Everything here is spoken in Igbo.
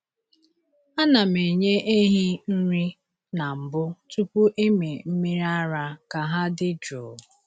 A na m enye ehi nri na mbụ tupu ịmị mmiri ara ka ha dị jụụ.